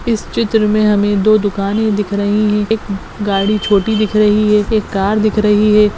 इस चित्र मे हमे दो दुकाने दिख रही हैं एक गाड़ी छोटी दिख रही हैं एक कार दिख रही हैं।